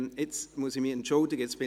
Jetzt muss ich mich entschuldigen.